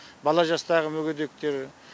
бала жастағы мүгедектер